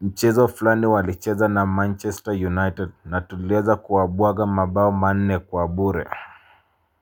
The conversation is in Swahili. Mchezo fulani walicheza na Manchester United na tuleza kuwabuaga mabao mane kuwabure.